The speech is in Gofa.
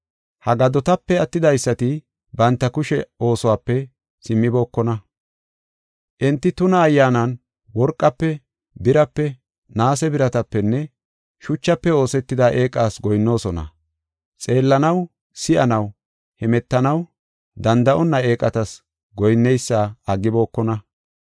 Ha gadotape attidaysati banta kushe oosuwape simmibokona. Enti tuna ayyaanan worqafe, birape, naase biratapenne shuchafe oosetida eeqas goyinnoosona. Xeellanaw, si7anaw, hemetanaw danda7onna eeqatas goyinneysa aggibokona.